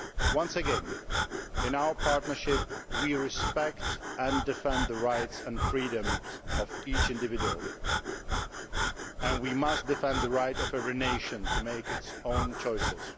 Once again, in our partnership we respect and defend the rights and freedoms of each individual, and we must defend the right of every nation to make its own choices.